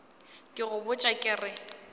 ke go botša ke re